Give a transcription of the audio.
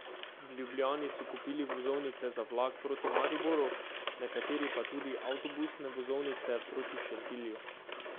V Ljubljani so kupili vozovnice za vlak proti Mariboru, nekateri pa tudi avtobusne vozovnice proti Šentilju.